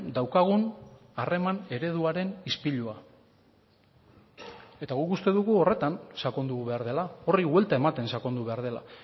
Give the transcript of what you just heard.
daukagun harreman ereduaren ispilua eta guk uste dugu horretan sakondu behar dela horri buelta ematen sakondu behar dela